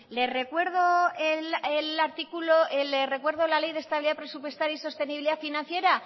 le recuerdo la ley de estabilidad presupuestaria y sostenibilidad financiera